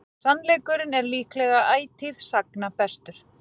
Sannleikurinn er líklega ætíð sagna bestur.